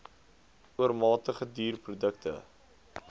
oormatige duur produkte